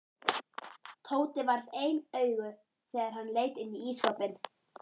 Tóti varð ein augu þegar hann leit inn í ísskápinn.